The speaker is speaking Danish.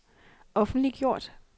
offentliggjort